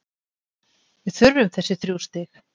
Við þurftum þessi þrjú stig.